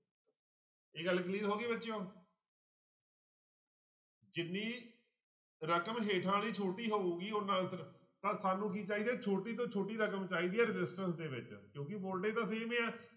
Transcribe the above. ਇਹ ਗੱਲ clear ਹੋ ਗਈ ਬੱਚਿਓ ਜਿੰਨੀ ਰਕਮ ਹੇਠਾਂ ਵਾਲੀ ਛੋਟੀ ਹੋਊਗੀ ਓਨਾ answer ਤਾਂ ਸਾਨੂੰ ਕੀ ਚਾਹੀਦਾ ਛੋਟੀ ਤੋਂ ਛੋਟੀ ਰਕਮ ਚਾਹੀਦਾ ਆ resistance ਦੇ ਵਿੱਚ ਕਿਉਂਕਿ voltage ਤਾਂ same ਹੀ ਹੈ।